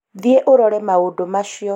thiĩ ũrore maũndũ macio